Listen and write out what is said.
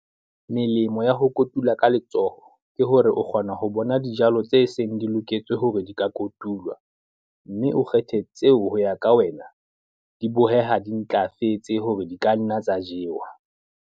Melemo ya ho kotula ka letsoho ke hore o kgona ho bona dijalo tse seng di loketse hore di ka kotulwa, mme o kgethe tseo ho ya ka wena, di boheha di ntlafetse hore di ka nna tsa jewa.